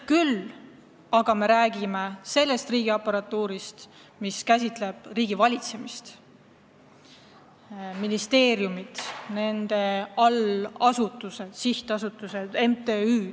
Küll aga me räägime selles kontekstis riigiaparatuurist – ministeeriumid, nende allasutused, sihtasutused, MTÜ-d.